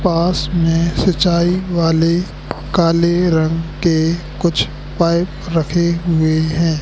पास में सिंचाई वाले काले रंग के कुछ पाइप रखे हुए हैं।